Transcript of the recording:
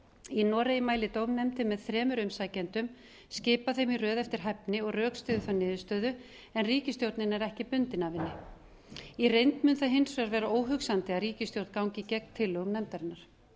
í noregi mælir dómnefndin með þremur umsækjendum skipar þeim í röð eftir hæfni og rökstyður þær niðurstöðu en ríkisstjórnin er ekki bundin af henni í reynd mun það hins vegar vera óhugsandi að ríkisstjórn gangi gegn tillögum nefndarinnar